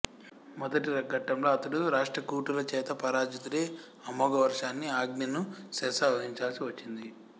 మొదటి ఘట్టంలో అతడు రాష్ట్రకూటుల చేత పరాజితుడై అమోఘవర్షుని ఆజ్ఞను శిరసావహించవలసి వచ్చింది